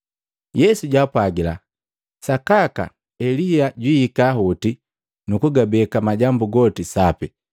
Yesu jwapwaga, “Sakaka Elia jwiika hoti nukugabeka majambu goti sapi.